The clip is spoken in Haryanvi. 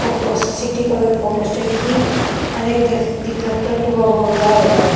Photo city colour photostat की अर एक देख दिक्खह टैटू का बोर्ड लाग रया ह।